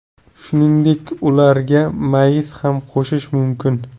Shuningdek, ularga mayiz ham qo‘shish mumkin.